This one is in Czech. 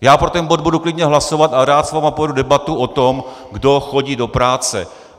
Já pro ten bod budu klidně hlasovat a rád s vámi povedu debatu o tom, kdo chodí do práce.